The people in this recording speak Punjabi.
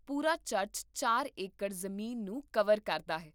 ਪੂਰਾ ਚਰਚ ਚਾਰ ਏਕੜ ਜ਼ਮੀਨ ਨੂੰ ਕਵਰ ਕਰਦਾ ਹੈ